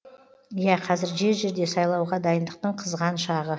иә қазір жер жерде сайлауға дайындықтың қызған шағы